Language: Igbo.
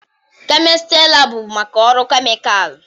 kemistri lab bụ maka ọrụ kemịkalụ.